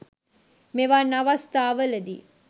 මෙවන් අවස්ථාවල දී